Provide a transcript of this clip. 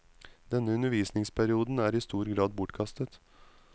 Denne undervisningsperioden er i stor grad bortkastet.